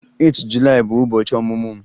8 Julaị bụ ụbọchị ọmụmụ m